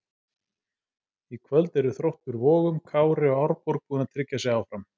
Í kvöld eru Þróttur Vogum, Kári og Árborg búin að tryggja sig áfram.